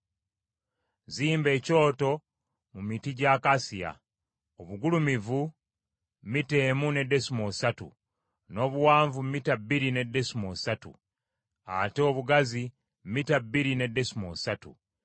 “Zimba ekyoto mu miti gya akasiya, obugulumivu mita emu ne desimoolo ssatu, n’obuwanvu mita bbiri ne desimoolo ssatu, ate obugazi mita bbiri ne desimoolo ssatu.